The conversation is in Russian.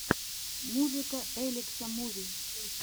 музыка элекса муви